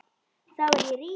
Þá verð ég rík.